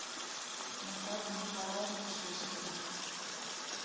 наталье николаевне шишкиной